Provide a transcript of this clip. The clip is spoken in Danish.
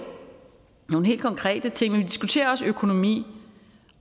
nogle helt konkrete ting men vi diskuterer også økonomi